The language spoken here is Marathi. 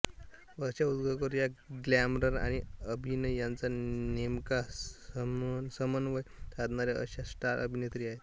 वर्षा उसगावकर या ग्लॅमर आणि अभिनय यांचा नेमका समन्वय साधणाऱ्या अशा स्टार अभिनेत्री आहेत